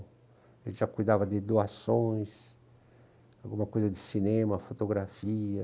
A gente já cuidava de doações, alguma coisa de cinema, fotografia.